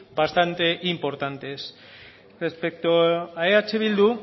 bastante importantes respecto a eh bildu